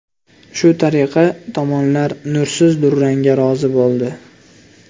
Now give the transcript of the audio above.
Shu tariqa tomonlar nursiz durangga rozi bo‘ldi.